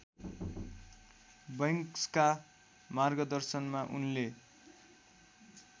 बैंक्सका मार्गदर्शनमा उनले